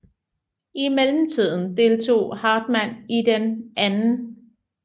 I mellemtiden deltog Hartmann i den 2